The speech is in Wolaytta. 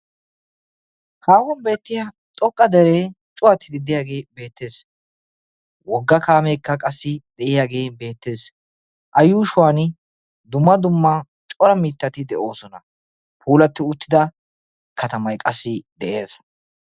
Haahuwaan beettiyaa xoqqa deree cuwattidi de'iyaagee beettees. wogga kaameekka qassi de'iyaagee beettees. a yuushshuwaan dumma dumma cora mittati de'oosona. puulatti uttida katamay qassi de'ees.